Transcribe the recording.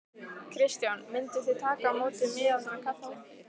Kristján: Mynduð þið taka á móti miðaldra kalli?